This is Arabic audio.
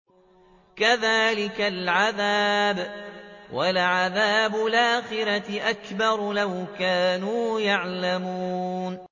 كَذَٰلِكَ الْعَذَابُ ۖ وَلَعَذَابُ الْآخِرَةِ أَكْبَرُ ۚ لَوْ كَانُوا يَعْلَمُونَ